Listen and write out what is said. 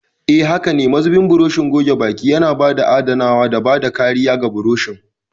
Haka ne, mazubin burushin goge baki yana adanawa da bada kariya ga burushin.